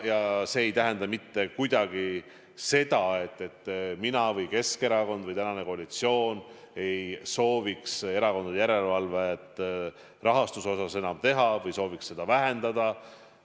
Ja see ei tähenda mitte kuidagi seda, et mina või Keskerakond või praegune koalitsioon ei sooviks erakondade rahastuse järelevalvet enam teha või sooviks seda vähendada.